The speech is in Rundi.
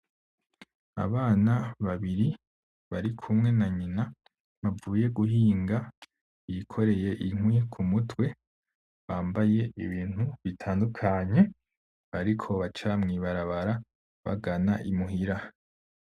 Abana babiri barikumwe na nyina, bavuye guhinga bikoreye inkwi k'umutwe , bambaye ibintu bitandukanye, bariko baca mw'ibarabara bagana i muhira .